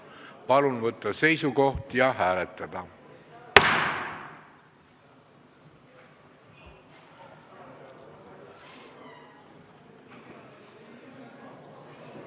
Palun võtta seisukoht ja hääletada!